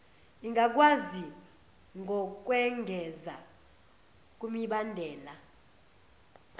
ingakwazi ngokwengeza kumibandela